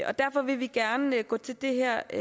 derfor vil vi gerne gå til det her